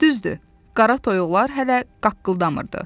Düzdür, qara toyuqlar hələ qaqqıldamırdı.